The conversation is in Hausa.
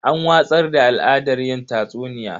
An watsar da al'adar yin tatsuniya.